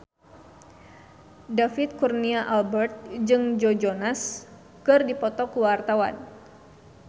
David Kurnia Albert jeung Joe Jonas keur dipoto ku wartawan